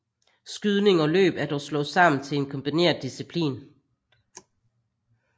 Skydning og løb er dog slået sammen til en kombineret disciplin